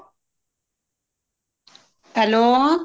hello